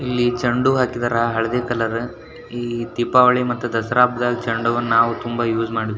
ಇಲ್ಲಿ ಚಂಡು ಹೂ ಹಾಕಿದಾರ ಹಳದಿ ಕಲರ್ ಇಲ್ಲಿ ದೀಪಾವಳಿ ಮತ್ತೆ ದಸರಾ ಹಬ್ಬದಲ್ಲಿ ಚಂಡು ಹೂವನ್ನ ನಾವು ತುಂಬಾ ಯೂಸ್ ಮಾಡ್ತೀವಿ .